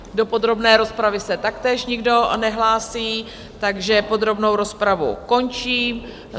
Do podrobné rozpravy se taktéž nikdo nehlásí, takže podrobnou rozpravu končím.